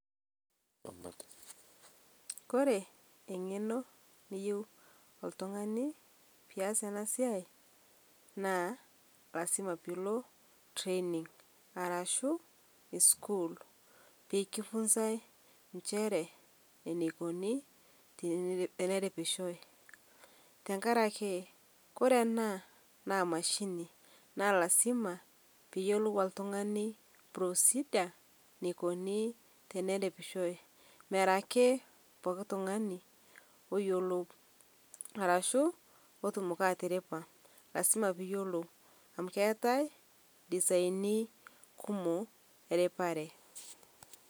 Ore engeno niyieu oltungani peyie ias ena siai naa lasima peyie ilo training arashuu sukuul peekisumi enchere eneikoni teneripishoi. Tenkaraki ore ena naa emashini naa lasima peyiolou oltungani procedure eneikoni teneripishoi. Mera ake poki tungani oyiolou arashu otumoki atiripa amu keetae designie kumok eripare